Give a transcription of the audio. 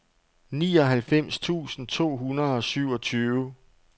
nioghalvfems tusind to hundrede og syvogtyve